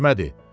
seçmədir.